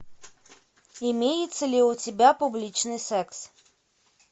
имеется ли у тебя публичный секс